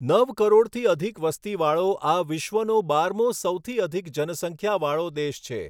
નવ કરોડથી અધિક વસ્તીવાળો આ વિશ્વનો બારમો સૌથી અધિક જનસંખ્યા વાળો દેશ છે.